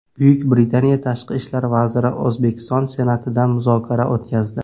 Buyuk Britaniya Tashqi ishlar vaziri O‘zbekiston Senatida muzokara o‘tkazdi.